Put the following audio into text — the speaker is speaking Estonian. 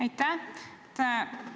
Aitäh!